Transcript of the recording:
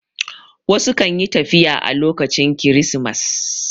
Wasu kan yi tafiya a lokacin kirismas